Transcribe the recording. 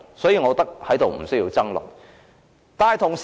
所以，我認為無須在此爭論。